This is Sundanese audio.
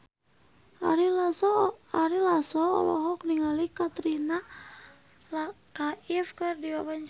Ari Lasso olohok ningali Katrina Kaif keur diwawancara